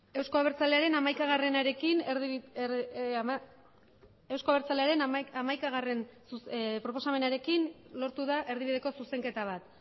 euzko abertzalearen hamaikagarrena proposamenarekin lortu da erdibideko zuzenketa bat